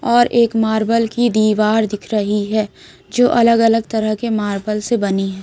और एक मार्बल की दीवार दिख रही है जो अलग अलग तरह के मार्बल से बनी है।